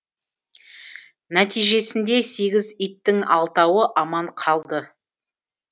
нәтижесінде сегіз иттің алтауы аман қалды